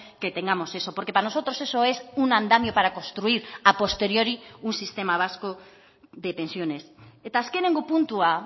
que tengamos eso porque para nosotros eso es un andamio para construir a posteriori un sistema vasco de pensiones eta azkenengo puntua